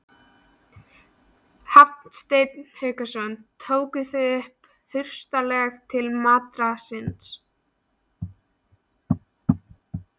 Hafsteinn Hauksson: Tóku þau hraustlega til matar síns?